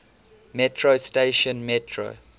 metro station metro